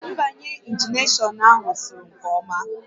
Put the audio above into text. Mgbanye ignishọn ahụ sụrụ nke ọma